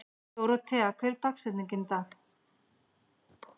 Dórothea, hver er dagsetningin í dag?